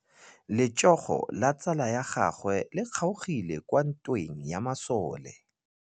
Letsôgô la tsala ya gagwe le kgaogile kwa ntweng ya masole.